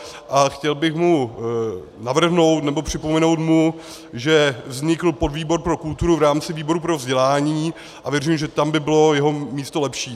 A chtěl bych mu navrhnout, nebo připomenout mu, že vznikl podvýbor pro kulturu v rámci výboru pro vzdělání, a věřím, že tam by bylo jeho místo lepší.